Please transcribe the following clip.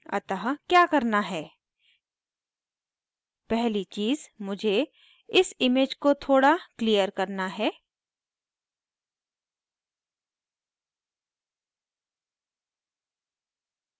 अतः क्या करना है पहली चीज़ मुझे इस image को थोड़ा clear करना है